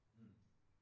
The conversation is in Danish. Hm